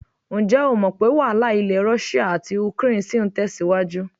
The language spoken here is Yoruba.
Ǹjẹ́ o mọ̀ pé́ wàhálà ilẹ̀ Rọ́ṣíà àti ukraine ṣì ń tẹ̀síwájú?